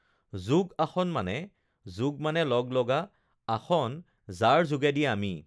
যোগ-আসন মানে যোগ মানে লগ-লগা, আসন যাৰ যোগেদি আমি